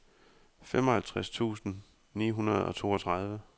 femoghalvtreds tusind ni hundrede og toogtredive